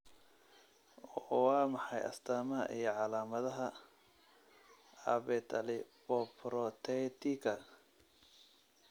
Waa maxay astamaha iyo calaamadaha Abetalipoprotetika?